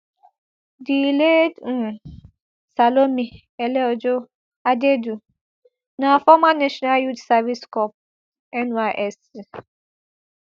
di late um salome eleojo adaidu na former national youth service corps nysc